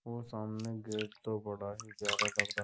वो सामने गेट तो बड़ा ही प्यारा लगा रा --